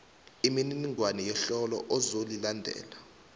imininingwana yehlelo ozolilandela